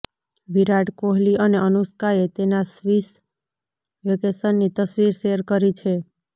વિરાટ કોહલી અને અનુષ્કાએ તેના સ્વિસ વેકેશનની તસ્વીર શેર કરી છે